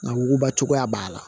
Nka wuguba cogoya b'a la